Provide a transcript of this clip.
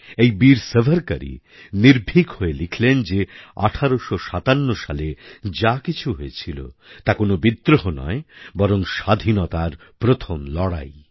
এই বীর সাভারকরই নির্ভীক হয়ে লিখলেন যে ১৮৫৭ সালে যা কিছু হয়েছিল তা কোনওবিদ্রোহ নয় বরং স্বাধীনতার প্রথম লড়াই